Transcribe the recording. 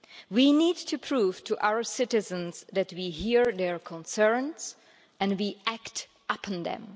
We need to prove to our citizens that we hear their concerns and we act upon them.